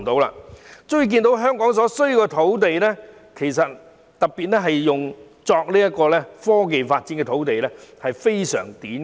由此可見，香港的土地，尤其是用作科技發展的土地非常短缺。